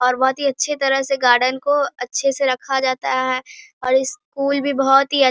और बहुत ही अच्छे तरह से गार्डन को अच्छे से रखा जाता है और स्कूल भी बहुत ही अच् --